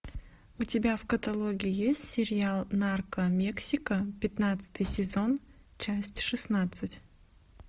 у тебя в каталоге есть сериал нарко мексика пятнадцатый сезон часть шестнадцать